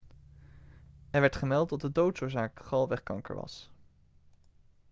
er werd gemeld dat de doodsoorzaak galwegkanker was